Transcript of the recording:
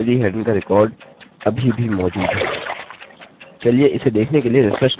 चलिए अपने डेटाबेस में देखें यदि emily headen का रिकार्ड अभी भी मौजूद है